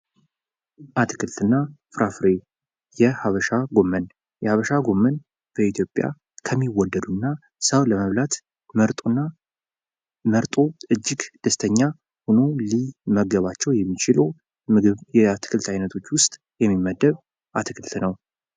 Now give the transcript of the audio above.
አትክልትና ፍራፍሬ የሀበሻ ጐመን የሀበሻ ጎመን በኢትዮጵያ ከሚወደዱና ሰው ለመብላት መርጦና መርጦ እጅግ ደስተኛ ሁኖ ሊመገባቸውን የሚችሉ ምግብ የአትክልት አይነቶች ውስጥ የሚመደብ አትክልት ነው።